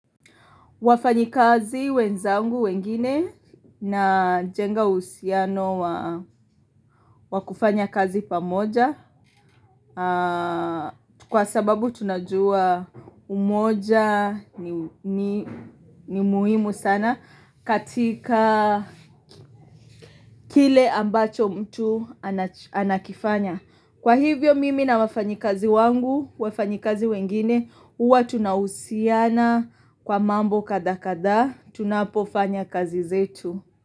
Wafanyikazi wenzangu wengine najenga uhusiano wa kufanya kazi pamoja kwa sababu tunajua umoja ni muhimu sana katika kile ambacho mtu anakifanya. Kwa hivyo mimi na wafanyikazi wangu, wafanyikazi wengine, huwa tunahusiana kwa mambo kadhaa kadhaa, tunapofanya kazi zetu.